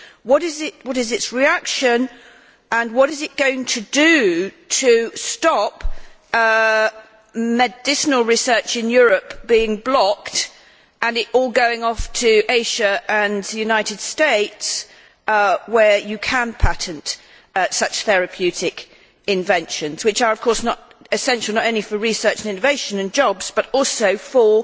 What is its reaction, and what is it going to do to stop medicinal research in Europe being blocked with the result that it all goes to Asia and the United States, where you can patent such therapeutic inventions which are of course essential not only for research and innovation and jobs but also for